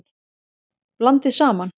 Blandið saman.